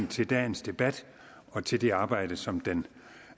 til dagens debat og til det arbejde som den